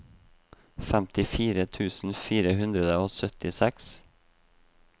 femtifire tusen fire hundre og syttiseks